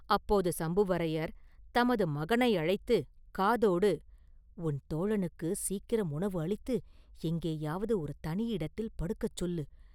அப்போது சம்புவரையர் தமது மகனை அழைத்துக் காதோடு, “உன் தோழனுக்குச் சீக்கிரம் உணவு அளித்து எங்கேயாவது ஒரு தனி இடத்தில் படுக்கச் சொல்லு!